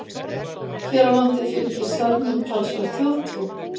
Hér á landi fylgir selnum talsverð þjóðtrú.